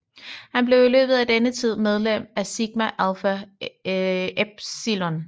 Han blev i løbet af denne tid medlem af Sigma Alpha Epsilon